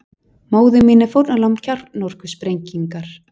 Móðir mín er fórnarlamb kjarnorkusprengingar